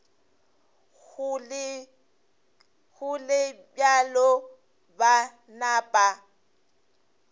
go le bjalo ba napa